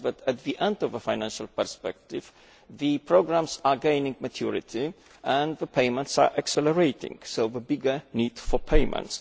At the end of the financial perspective the programmes are gaining maturity and the payments are accelerating, so the bigger need for payment.